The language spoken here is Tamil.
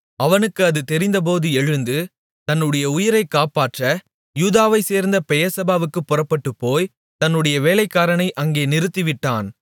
அவனுக்கு அது தெரிந்தபோது எழுந்து தன்னுடைய உயிரைக் காப்பாற்ற யூதாவைச்சேர்ந்த பெயெர்செபாவுக்குப் புறப்பட்டுப்போய் தன்னுடைய வேலைக்காரனை அங்கே நிறுத்திவிட்டான்